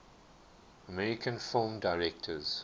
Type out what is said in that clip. american film directors